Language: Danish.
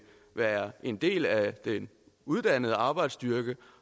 være en del af den uddannede arbejdsstyrke